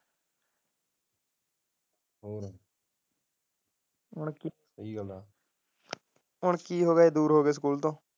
ਹੋਰ ਹੁਣ ਕਿ ਹੋ ਗਿਆ ਦੂਰ ਹੋ ਗਿਐ ਸਕੂਲ ਤੋਂ।